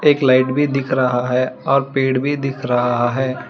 एक लाइट भी दिख रहा है और पेड़ भी दिख रहा है।